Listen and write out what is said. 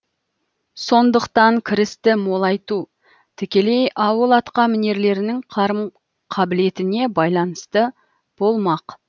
сондықтан кірісті молайту тікелей ауыл атқамінерлерінің қарым қабілетіне байланысты болмақ